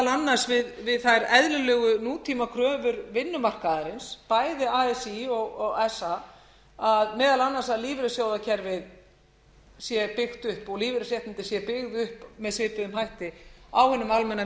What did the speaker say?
annars við þær eðlilegu nútímakröfur vinnumarkaðarins bæði así og sa meðal annars að lífeyrissjóðakerfið sé byggt upp og lífeyrisréttindi séu byggð upp með svipuðum hætti á hinum almenna